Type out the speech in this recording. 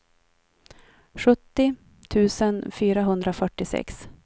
sjuttio tusen fyrahundrafyrtiosex